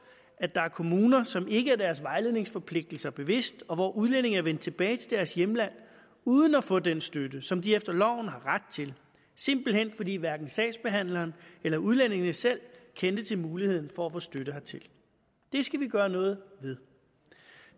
at der er kommuner som ikke er sig deres vejledningsforpligtelser bevidst og hvor udlændinge er vendt tilbage til deres hjemland uden at få den støtte som de efter loven har ret til simpelt hen fordi hverken sagsbehandleren eller udlændingene selv kendte til muligheden for at få støtte hertil det skal vi gøre noget ved